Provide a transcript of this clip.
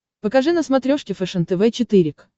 покажи на смотрешке фэшен тв четыре к